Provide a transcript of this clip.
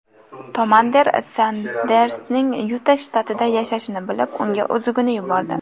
Tomander Sandersning Yuta shtatida yashashini bilib, unga uzugini yubordi.